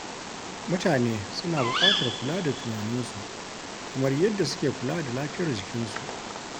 Mutane suna buƙatar kula da tunaninsu kamar yadda suke kula da lafiyar jikinsu.